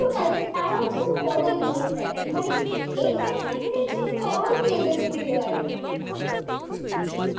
এইটা খুব মজার জিনিস আর কি মানে Entertainment চরম লেভেল ছিল আর কি,